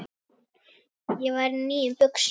Ég var í nýjum buxum.